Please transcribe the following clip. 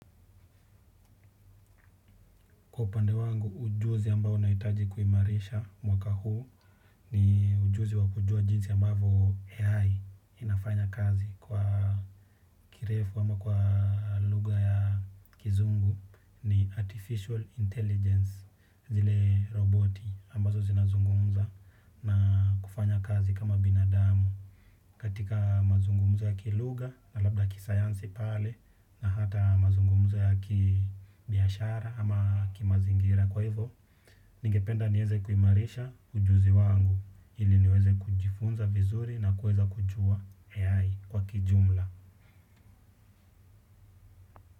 Kwa upande wangu, ujuzi ambao naitaji kuimarisha mwaka huu ni ujuzi wa kujua jinsi ambavo AI inafanya kazi kwa kirefu ama kwa luga ya kizungu ni artificial intelligence zile roboti ambazo zinazungumza na kufanya kazi kama binadamu. Katika mazungumza ya kiluga na labda kisayansi pale na hata mazungumzo ya kibiashara ama kimazingira kwa hivyo, ningependa nieze kuimarisha ujuzi wangu ili niweze kujifunza vizuri na kueza kujua AI kwa kijumla.